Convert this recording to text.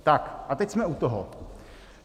Tak a teď jsme u toho.